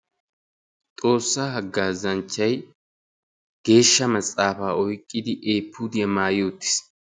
Xoossaa haggaazanchchayi geeshsha maxaafaa oyqqidi eefuudiya maayi uttis.